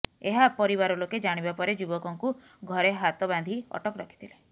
ଏହା ପରିବାର ଲୋକେ ଜାଣିବା ପରେ ଯୁବକଙ୍କୁ ଘରେ ହାତ ବାନ୍ଧି ଅଟକ ରଖିଥିଲେ